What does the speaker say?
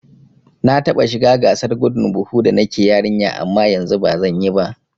Na taɓa shiga gasar gudun buhu da nake yarinya amma yanzu bazan iya ba